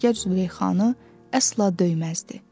əsgər Züleyxanı əsla döyməzdi,